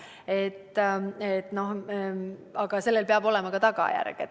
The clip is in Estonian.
Aga peab sellel olema ka tagajärg.